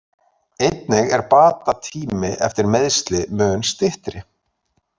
Einnig er bata tími eftir meiðsli mun styttri.